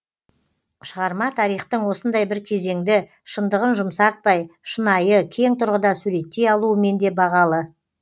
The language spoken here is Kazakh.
шығарма тарихтың осындай бір кезеңді шындығын жұмсартпай шынайы кең тұрғыда суреттей алуымен де бағалы